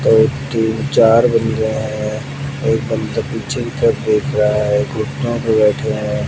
और एक तीन चार बंदे हैं एक बंदा पीछे के तरफ देख रहा है घुटनों पर बैठे हैं।